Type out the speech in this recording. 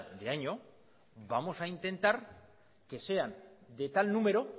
de año vamos a intentar que sean de tal número